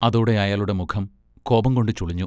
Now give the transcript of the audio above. അതോടെ അയാളുടെ മുഖം കോപംകൊണ്ട് ചുളിഞ്ഞു.